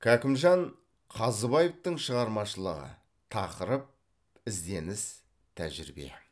кәкімжан қазыбаевтың шығармашылығы тақырып ізденіс тәжірибе